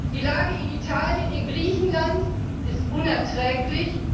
Die Lage in Italien und Griechenland ist unerträglich.